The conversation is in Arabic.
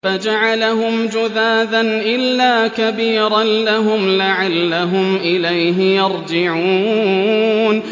فَجَعَلَهُمْ جُذَاذًا إِلَّا كَبِيرًا لَّهُمْ لَعَلَّهُمْ إِلَيْهِ يَرْجِعُونَ